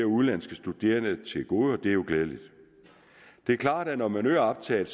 udenlandske studerende til gode og det er jo glædeligt det er klart at når man øger optaget